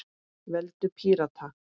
Veldu Pírata.